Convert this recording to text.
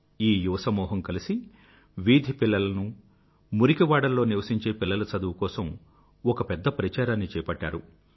ఈ యువ సమూహం కలిసి వీధి పిల్లలనూ మురికివాడల్లో నివసించే పిల్లల చదువు కోసం ఒక పెద్ద ప్రచారాన్ని చేపట్టారు